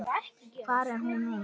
Hvar er hún núna?